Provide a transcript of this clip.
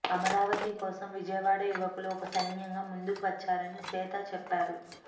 అమరావతి కోసం విజయవాడ యువకులు ఒక సైన్యంగా ముందుకు వచ్చారని శ్వేత చెప్పారు